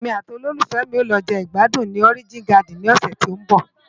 Émi àti ólólúfèmi á lò je igbádún ni Òrijín Gádin ni òsè tó n bò